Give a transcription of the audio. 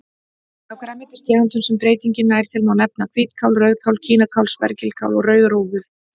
Af grænmetistegundum sem breytingin nær til má nefna hvítkál, rauðkál, kínakál, spergilkál og rauðrófur.